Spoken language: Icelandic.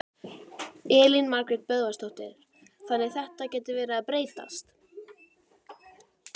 Elín Margrét Böðvarsdóttir: Þannig að þetta gæti verið að breytast?